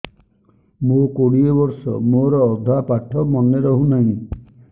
ମୋ କୋଡ଼ିଏ ବର୍ଷ ମୋର ଅଧା ପାଠ ମନେ ରହୁନାହିଁ